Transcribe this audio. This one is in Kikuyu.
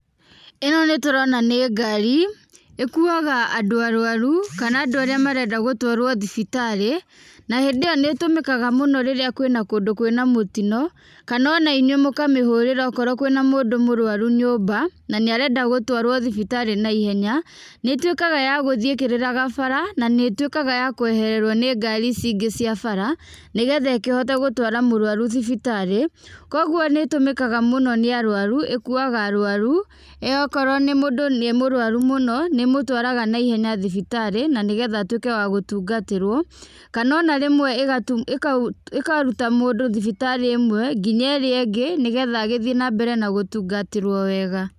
ĩno nĩtũrona nĩ ngari, ĩkuaga andũ arũaru kana andũ arĩa marenda gũtwarwo thibitarĩ, na hĩndĩ ĩ yo nĩtũmĩkaga mũno hĩndĩ ĩrĩa kwĩna kũndũ kwĩ na mũtino kana o na inyuĩ mũkamĩhũrĩra akorwo kwĩ na mũndũ mũrũaru nyũmba nanĩarenda gũtũarwo thibitarĩ na ihenya , nĩĩtuĩkaga ya gũthiĩ ĩkĩrĩraga bara nanĩĩtũĩkaga ya kũeherero nĩ ngari ici ingĩ cĩa bara nĩgetha ĩkĩhote gũtwara mũrũaru thibitarĩ, kogwo nĩĩtũmĩkaga mũno nĩ arũaru, ĩkuaga arũaru, ĩ okorwo mũndũ nĩ mũrũaru mũno nĩĩmũtwaraga na ihenya thibitarĩ na nĩgetha atuĩke wa gũtũngatĩrwo kana rĩmwe ĩkaruta mũndũ thibitari ĩmwe nginya ĩrĩa ingĩ nĩgetha agĩthiĩ na mbere na gũtungatĩrwo wega.